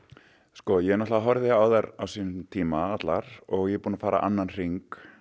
sko ég náttúrulega horfði á þær á sínum tíma allar og ég er búinn að fara annan hring